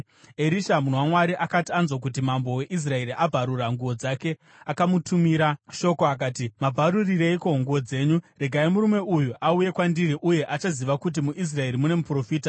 Erisha munhu waMwari, akati anzwa kuti mambo weIsraeri abvarura nguo dzake, akamutumira shoko akati, “Mabvarurireiko nguo dzenyu? Regai murume uyo auye kwandiri, uye achaziva kuti muIsraeri mune muprofita.”